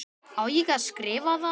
Á ég að skrifa það?